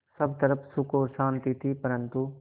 सब तरफ़ सुख और शांति थी परन्तु